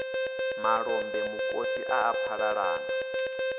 malombe mukosi a a phalalana